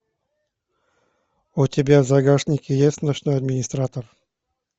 у тебя в загашнике есть ночной администратор